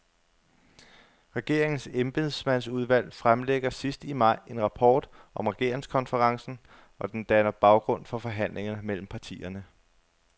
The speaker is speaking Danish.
Regeringens embedsmandsudvalg fremlægger sidst i maj en rapport om regeringskonferencen, og den danner baggrund for forhandlingerne mellem partierne.